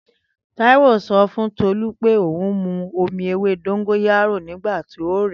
Taiwo sọ̀ fun Tolu pẹ, oùn mù omi èwé dongoyaro nigbàti ò rẹ